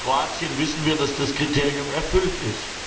Bei Kroatien wissen wir, dass das Kriterium erfüllt ist.